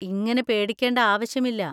ഇങ്ങനെ പേടിക്കേണ്ട ആവശ്യമില്ല!